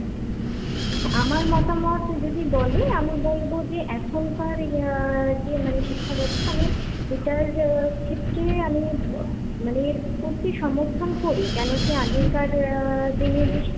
আমার মতামত যদি বলে, আমি বলব যে এখনকার যে মানে শিক্ষাব্যবস্থা আমি এটার ক্ষেত্রে আমি মানে এর প্রতি সমর্থন করি, কেন কি আগেকার দিনের যে,